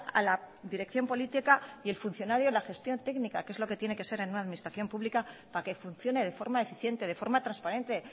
a la dirección política y el funcionario a la gestión técnica que es lo que tiene que ser en una administración pública para que funcione de forma eficiente de forma transparente